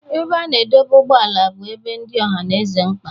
Ebe a na-adọba ụgbọala bụ ebe dị ọhaneze mkpa.